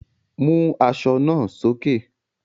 Mú aṣọ náà sókè!